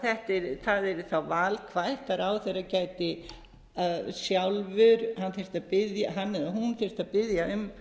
að það yrði þá valkvætt að ráðherra gæti sjálfur hann eða hún þyrfti að biðja um